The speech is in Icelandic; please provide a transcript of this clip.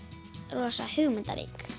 rosa hugmyndarík